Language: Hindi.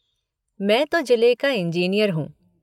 मैं तो जिले का इंजीनियर हूँ।